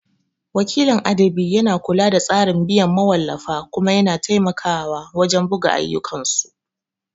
Wakilin adabi yana kula da tsarin biyan mawallafa kuma yana taimakawa wajen buga ayyukansu.